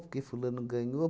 Por que fulano ganhou?